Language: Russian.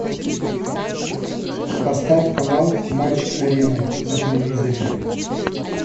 поставь канал матч арена на телевизоре